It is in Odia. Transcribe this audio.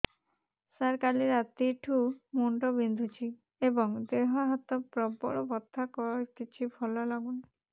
ସାର କାଲି ରାତିଠୁ ମୁଣ୍ଡ ବିନ୍ଧୁଛି ଏବଂ ଦେହ ହାତ ପ୍ରବଳ ବଥା କିଛି ଭଲ ଲାଗୁନି